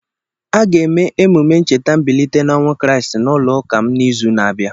A ga-eme emume ncheta mbilite n'ọnwụ kriisti n'ụlọụka m n'izu na-abịa.